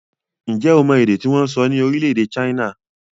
Ǹjẹ́ o mọ èdè tí wọ́n ń sọ ní orílẹ̀-èdè China?